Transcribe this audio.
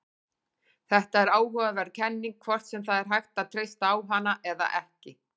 Þetta er áhugaverð kenning, hvort sem það er hægt að treysta á hana eða ekki.